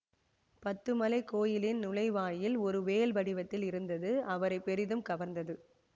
பத்துமலைக் கோயிலின் நுழைவாயில் ஒரு வேல் வடிவத்தில் இருந்தது அவரை பெரிதும் கவர்ந்தது